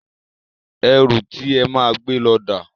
Ẹrù ti e máa gbé lọ dà?